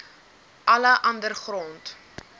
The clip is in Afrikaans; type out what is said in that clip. alle ander grond